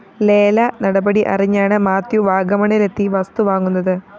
ലേല നടപടി അറിഞ്ഞാണ് മാത്യു വാഗമണ്ണിലെത്തി വസ്തു വാങ്ങുന്നത്